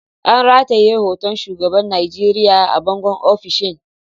An rataye hoton shugaban Najeriya a bangon ofishin.